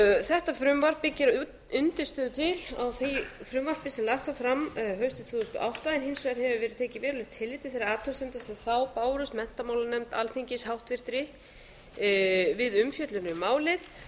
þetta frumvarp byggir að undirstöðu til á því frumvarpi sem lagt var fram haustið tvö þúsund og átta en hins vegar hefur verið tekið verulegt tillit til þeirra athugasemda sem þá bárust menntamálanefnd alþingis háttvirtur við umfjöllun um málið